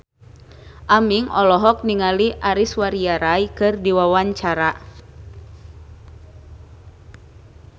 Aming olohok ningali Aishwarya Rai keur diwawancara